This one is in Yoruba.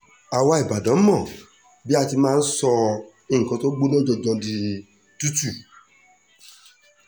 àwa ìbàdàn mọ báa ṣe máa ń sọ nǹkan tó gbóná janjan di tútù